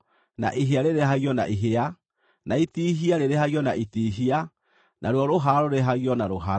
ihĩa rĩrĩhagio na ihĩa, na itihia rĩrĩhagio na itihia, naruo rũhara rũrĩhagio na rũhara.